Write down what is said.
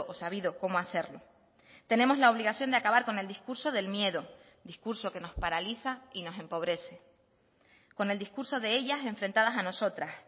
sabido cómo hacerlo tenemos la obligación de acabar con el discurso del miedo discurso que nos paraliza y nos empobrece con el discurso de ellas enfrentadas a nosotras